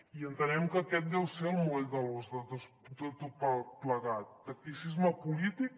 i entenem que aquest deu ser el moll de l’os de tot plegat tacticisme polític